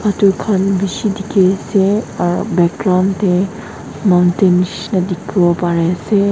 edu khan bishi dikhiase aro background tae mountain nishina dikhiase ase.